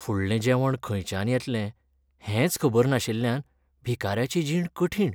फुडलें जेवण खंयच्यान येतलें हेंच खबर नाशिल्ल्यान भिकाऱ्याची जीण कठीण.